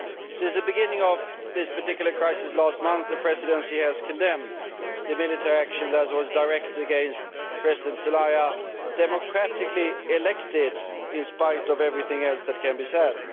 Since the beginning of this particular crisis last month, the Presidency has condemned the military action that was directed against President Zelaya, who was democratically elected, in spite of everything else that can be said.